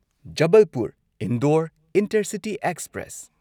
Jabalpur Indore intercity express